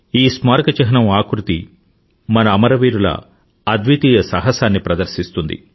ఈ స్మారక చిహ్నం ఆకృతి మన అమరవీరుల అద్వితీయ సాహసాన్ని ప్రదర్శిస్తుంది